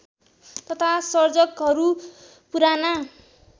तथा सर्जकहरू पुराना